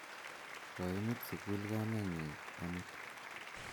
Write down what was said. Koimut sukul kamennyi amut